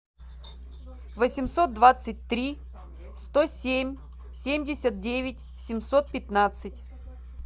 восемьсот двадцать три сто семь семьдесят девять семьсот пятнадцать